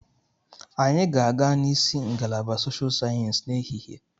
Anyị ga-aga n'isi ngalaba Soshal Sayensị n'ehihie.